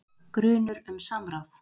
Grunur um samráð